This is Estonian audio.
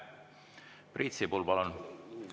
Priit Sibul, palun!